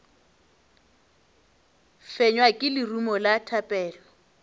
fenywa ke lerumo la thapelo